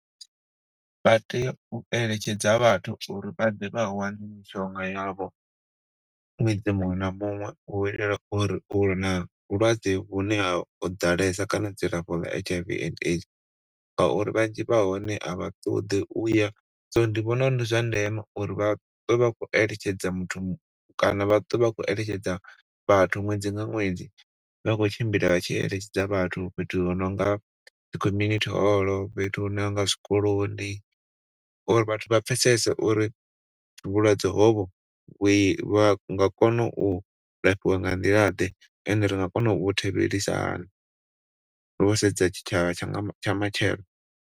Vha tea u eletshedza vhathu uri vha ḓe vha wane mishonga yavho ṅwedzi muṅwe na muṅwe u itela uri na vhulwadze hune ho ḓalesa kana dzilafho dza H_I_V and AIDS ngauri vhanzhi vha hone a vha ṱoḓi uya so ndi vhona uri ndi zwa ndeme uri vha ṱwe vha khou eletshedza muthu kana vha ṱwe vha khou eletshedza vhathu ṅwedzi nga ṅwedzi vha khou tshimbila vha tshi eletshedza vhathu, fhethu huno nga dzi community hall, fhethu huno nga zwikoloni uri vhathu vha pfesese uri vhulwadze hovho vhu vha nga kona u lafhiwa nga nḓila ḓe and ri nga kona u vhu thivhelisa hani to sedza tshi tshavha tsha matshelo.